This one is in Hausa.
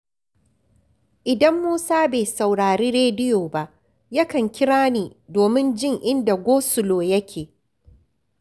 Idan Musa bai saurari rediyoba, yakan kira ni domin jin inda gosulo yake